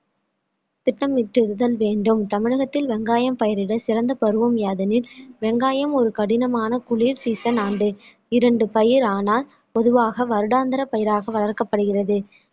திட்டமிட்டுதல் வேண்டும் தமிழகத்தில் வெங்காயம் பயிரிட சிறந்த பருவம் யாதெனில் வெங்காயம் ஒரு கடினமான குளிர் season ஆண்டு இரண்டு பயிரானால் பொதுவாக வருடாந்திர பயிராக வளர்க்கப்படுகிறது